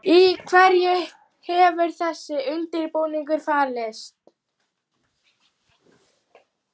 Í hverju hefur þessi undirbúningur falist?